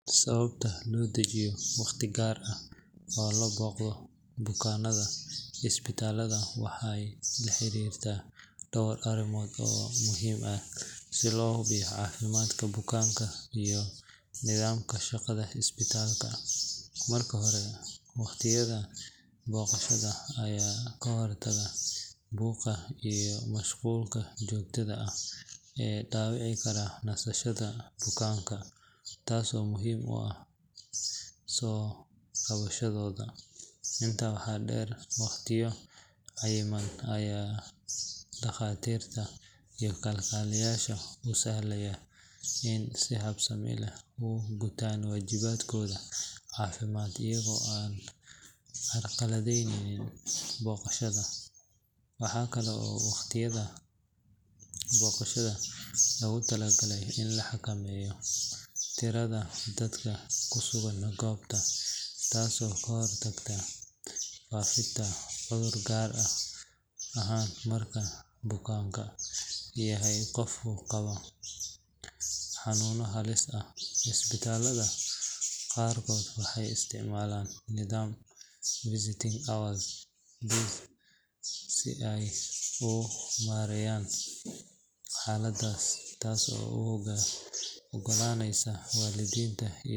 Sababta loo dejiyo waqtiyo gaar ah oo loo booqdo bukaannada isbitaalada waxay la xiriirtaa dhowr arrimood oo muhiim ah si loo hubiyo caafimaadka bukaanka iyo nidaamka shaqada isbitaalka. Marka hore, waqtiyada booqashada ayaa ka hortaga buuqa iyo mashquulka joogtada ah ee dhaawici kara nasashada bukaanka, taasoo muhiim u ah soo kabashadooda. Intaa waxaa dheer, waqtiyo cayiman ayaa dhakhaatiirta iyo kalkaaliyayaasha u sahlaya inay si habsami leh u gutaan waajibaadkooda caafimaad iyagoo aan carqaladeynin booqdayaasha. Waxa kale oo waqtiyada booqashada loogu talagalay in la xakameeyo tirada dadka ku sugan goobta, taasoo ka hortagta faafidda cudurrada gaar ahaan marka bukaanku yahay qof qaba xanuuno halis ah. Isbitaalada qaarkood waxay isticmaalaan nidaamka visiting hours si ay u maareeyaan xaaladda, taas oo u oggolaanaysa waalidiinta iyo.